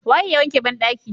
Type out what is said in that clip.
Waye ya wanke bandaki?